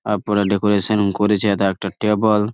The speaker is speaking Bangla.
আর উপরে ডেকোরেশন করেছে তা একটা টেবল ।